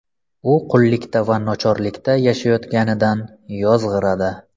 U qullikda va nochorlikda yashayotganidan yozg‘iradi.